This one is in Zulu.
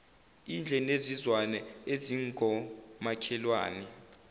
idle nezizwana ezingomakhelwane